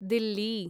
Delhi